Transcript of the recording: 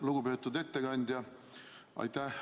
Lugupeetud ettekandja!